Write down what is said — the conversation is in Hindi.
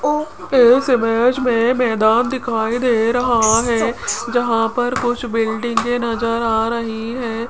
इस इमेज में मैदान दिखाई दे रहा है जहां पर कुछ बिल्डिंगे नज़र आ रही हैं।